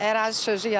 Ərazi sözü yalandır.